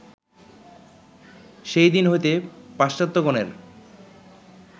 সেই দিন হইতে পাশ্চাত্ত্যগণের